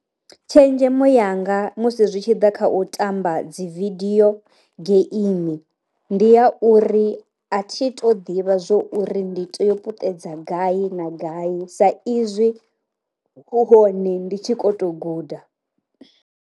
Tshenzhemo yanga musi zwi tshi ḓa kha u tamba dzi vidio geimi ndi a uri, a thi to ḓivha zwo uri ndi to yo puṱedza gai na gai sa izwi hu hone ndi tshi ko to guda.